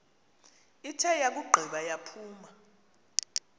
ithe yakugqiba yaphuma